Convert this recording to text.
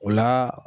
O la